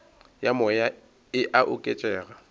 ya moya e a oketšega